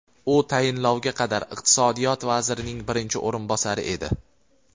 U tayinlovga qadar iqtisodiyot vazirining birinchi o‘rinbosari edi.